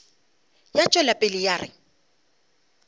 ya tšwela pele ya re